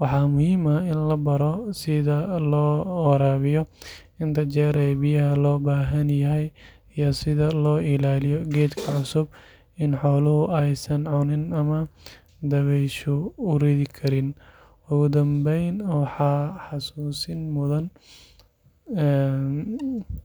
Waxaa muhiim ah in la baro sida loo waraabiyo, inta jeer ee biyaha loo baahan yahay iyo sida loo ilaaliyo geedka cusub in xooluhu aysan cunin ama dabayshu u ridi karin. Ugu dambeyn, waxaad xusuusin.